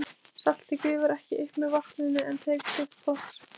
Saltið gufar ekki upp með vatninu en tekur sitt pláss.